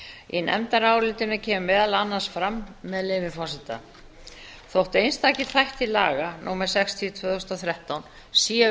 í nefndarálitinu kemur meðal annars fram með leyfi forseta að þótt einstakir þættir laga númer sextíu tvö þúsund og þrettán séu